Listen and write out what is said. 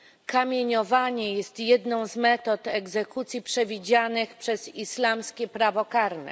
Kamienowanie jest jedną z metod egzekucji przewidzianych przez islamskie prawo karne.